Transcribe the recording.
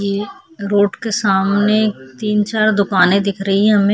ये रोड के सामने तीन-चार दुकाने दिख रही है हमें--